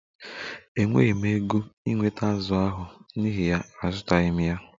E nweghi m ego ị nweta azù ahụ n'ihi ya azụtaghi m ya